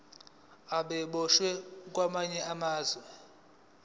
ababoshwe kwamanye amazwe